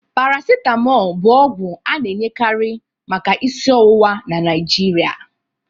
Paracitamọl bụ ọgwụ a na-enyekari maka isi ọwụwa na Nigeria